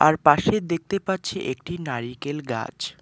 তার পাশে দেখতে পাচ্ছি একটি নারিকেল গাছ।